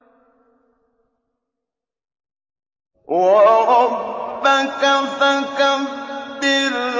وَرَبَّكَ فَكَبِّرْ